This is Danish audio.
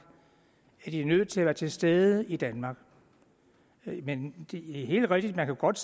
er det nødt til at være til stede i danmark men det er helt rigtigt at man godt